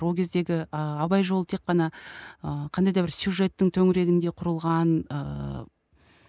ол кездегі ы абай жолы тек қана ы қандай да бір сюжеттің төңірегінде құрылған ыыы